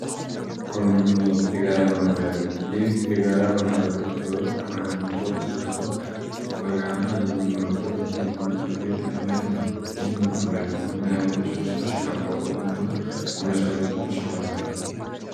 ኮንዶሚኒየም የጋራ መኖሪያ ቤት የጋራ መኖሪያ ቤት ሰዎች በጋራ ቤት ሰርተው በጋራ የሚኖርበት የመኖሪያ ቤት አይነት ነው። ይህ ምን አይነት ድርጅቶች ሊያቋቁሙትና ሊመሠረቱት ይችላሉ?